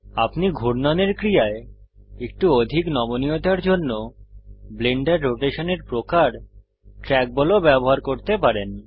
আপনি ঘুর্ণনের ক্রিয়ায় একটু অধিক নমনীয়তার জন্য ব্লেন্ডারে রোটেশনের প্রকার ট্র্যাকবল ও ব্যবহার করতে পারেন